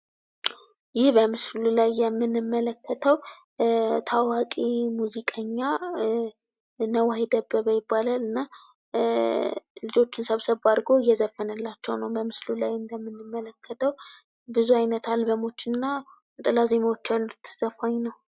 ይህ በምስሉ ላይ የምንመለከተው ታዋቂ ሙዚቀኛ አርቲስት ነዋይ ደበበ እሚባል ያታወቃል። ልጆቹን ሰብሰብ አድርጎ እየዘፈነላቸው ይታያል በምስሉ ላይ። እንዲሁም ብዙ አልበሞች ያሉት ተዎዳጅ ሙዚቀኛ ነው ።